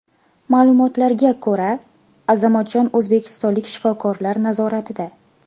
Ma’lumotlarga ko‘ra, Azamatjon o‘zbekistonlik shifokorlar nazoratida.